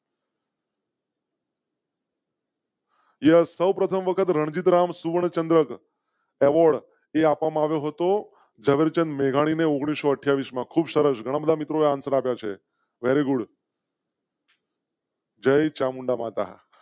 યહ સૌપ્રથમ વખત રણજિત રામ સુવર્ણચંદ્રક. કહો તો જવાબ ચંદ મેઘાણી ને ઓગણીસો અઠ્યાવીસ માં ખૂબ સરસ ઘણા બધા મિત્રો યાત્રા છે. Very good. જય ચામુંડા માતા